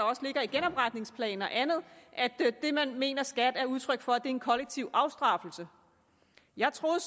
også ligger i genopretningsplanen og andet at man mener at skat er udtryk for en kollektiv afstraffelse jeg troede